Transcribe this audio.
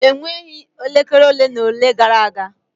Enweghị elekere ole na ole gara aga.